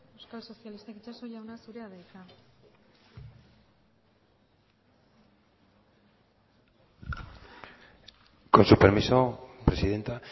euskal sozialistak itxaso jauna zurea da hitza con su permiso presidenta